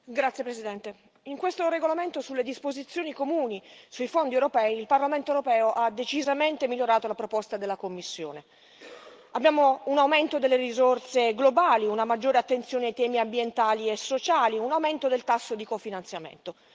Signora Presidente, onorevoli colleghi, in questo regolamento sulle disposizioni comuni sui fondi europei, il Parlamento europeo ha decisamente migliorato la proposta della Commissione. Abbiamo un aumento delle risorse globali, una maggiore attenzione ai temi ambientali e sociali, un aumento del tasso di cofinanziamento.